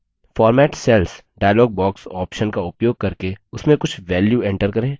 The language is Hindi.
format cells dialog box options का उपयोग करके उसमें कुछ values enter करें